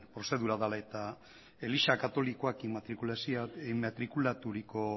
prozedura dela eta eliza katolikoak inmatrikulaturiko